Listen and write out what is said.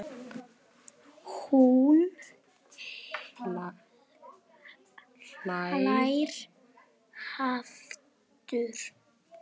Hún hlær aftur.